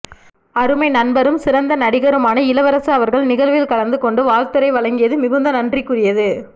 அருமை நண்பரும் சிறந்த நடிகருமான இளவரசு அவர்கள் நிகழ்வில் கலந்து கொண்டு வாழ்த்துரை வழங்கியது மிகுந்த நன்றிக்குரியது